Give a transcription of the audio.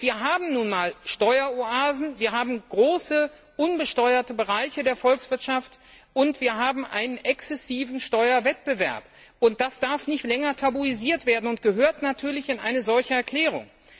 Und wir haben nun einmal Steueroasen, wir haben große unbesteuerte Bereiche der Volkswirtschaft, und wir haben einen exzessiven Steuerwettbewerb das darf nicht länger tabuisiert werden und gehört natürlich in eine solche Erklärung.